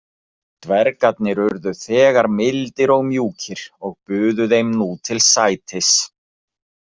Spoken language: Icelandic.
Dvergarnir urðu þegar mildir og mjúkir og buðu þeim nú til sætis.